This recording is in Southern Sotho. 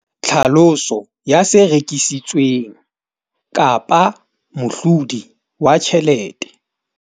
Tlhaloso ya se rekisitsweng kapa mohlodi wa tjhelete